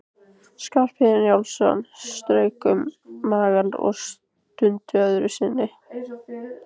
Skarphéðinn Njálsson strauk um magann og stundi öðru sinni.